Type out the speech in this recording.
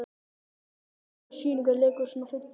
Salome, hvaða sýningar eru í leikhúsinu á fimmtudaginn?